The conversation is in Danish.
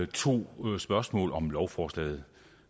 to spørgsmål om lovforslaget